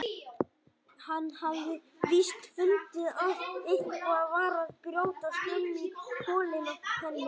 Hann hafði víst fundið að eitthvað var að brjótast um í kollinum á henni.